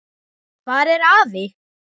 Hvar er afi?